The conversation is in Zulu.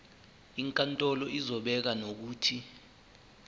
inkantolo izobeka nokuthi